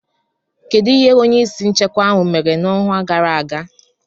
Kedu ihe onye isi nchekwa ahụ mere n'ọnwa gara aga?